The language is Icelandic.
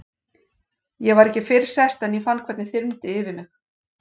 Ég var ekki fyrr sest en ég fann hvernig þyrmdi yfir mig.